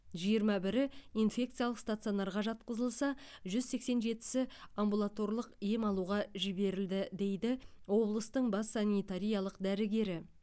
жиырма бірі инфекциялық стационарға жатқызылса жүз сексен жетісі амбулаторлық ем алуға жіберілді дейді облыстың бас санитариялық дәрігері